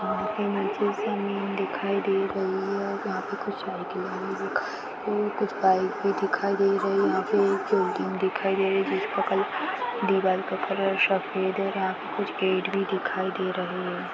घर के नीचे जमीन दिखाई दे रही है यहां पे कुछ साइकिलें भी दिखाई दे रहे कुछ बाइक भी दिखाई दे रही है यहां एक बिल्डिंग भी दिखाई दे रही है जिसका कलर दीवाल का कलर सफेद है और यहां पे कुछ गेट भी दिखाई दे रहे है।